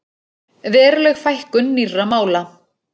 Veruleg fækkun nýrra mála